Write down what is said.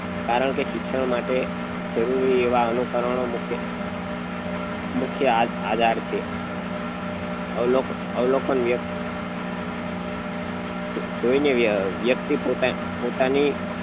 કારણ કે શિક્ષણ માટે જરૂરી એવા અનુકારનો મુખ્ય મુખ્ય આધાર છે અવલોકન અવલોકન જોઈ ને વ્યક્તિ પોત પોતાની